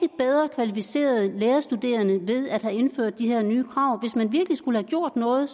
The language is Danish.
kvalificerede lærerstuderende ved at have indført de her nye krav hvis man virkelig skulle have gjort noget